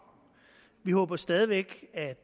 vi håber stadig væk at